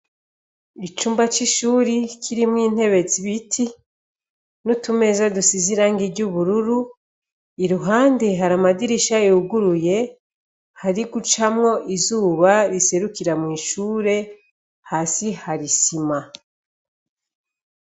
Icumba c'ishuri kirimwo intebezi ibiti n'utumeza dusiziranga iryo ubururu iruhande hari amadirisha yuguruye hari gucamwo izuba riserukira mw'ishure hasi harisima.